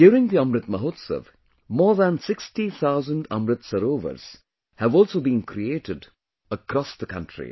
During the Amrit Mahotsav, more than 60 thousand Amrit Sarovars have also been created across the country